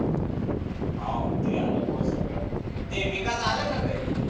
हाव ते आहे भो सगळ ते विकास आला का घरी?